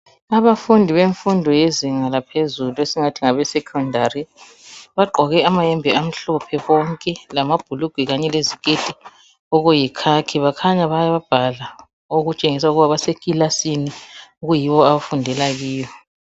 Abafundi bemfundo yezinga laphezulu esingathi ngabesecondary bagqoke amayembe amhlophe bonke lamabhulugwe kanye leziketi okuyikhakhi bakhanya bayabhala okutshengisa ukuba basekilasini okuyiyo abafundela kiyo.